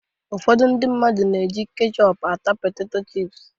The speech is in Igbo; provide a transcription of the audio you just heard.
Ụfọdụ ndị mmadụ na-eji ketchọp ata peteto chịp